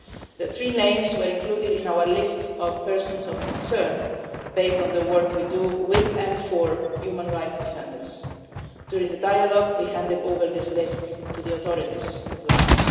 Their three names were included in our list of persons of concern, based on the work we do with, and for, human rights defenders. During the dialogue we handed over this list to the authorities of Laos.